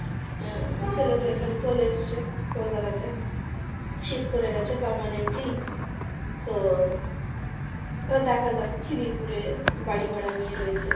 আহ ছেলে তো এখানে চলে এসেছে কলকাতাতে। shift করে গেছে permanently তো এবার দেখা যাক খিদিরপুরে বাড়ি ভাড়া নিয়ে রয়েছে